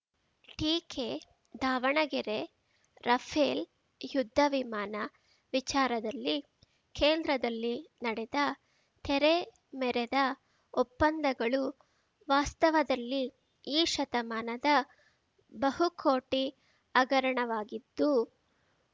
ಟೀಕೆ ದಾವಣಗೆರೆ ರಫೇಲ್‌ ಯುದ್ಧ ವಿಮಾನ ವಿಚಾರದಲ್ಲಿ ಕೇಂದ್ರದಲ್ಲಿ ನಡೆದ ತೆರೆ ಮೆರೆದ ಒಪ್ಪಂದಗಳು ವಾಸ್ತವದಲ್ಲಿ ಈ ಶತಮಾನದ ಬಹುಕೋಟಿ ಹಗರಣವಾಗಿದ್ದು